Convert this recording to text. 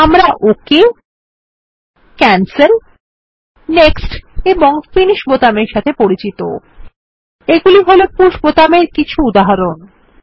আমরা okay cancel next এবং Finish বোতামের সাথে পরিচিত এগুলি হল পুশ বোতাম এর কিছু উদাহরণ